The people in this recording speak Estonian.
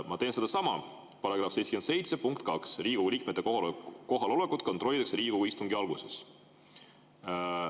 Ma teen sedasama, § 77 punkt 2: "Riigikogu liikmete kohalolekut kontrollitakse Riigikogu istungi alguses.